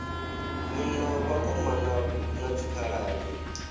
ni na vhakomana na dzikhaladzi